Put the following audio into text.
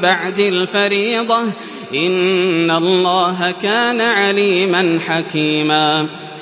بَعْدِ الْفَرِيضَةِ ۚ إِنَّ اللَّهَ كَانَ عَلِيمًا حَكِيمًا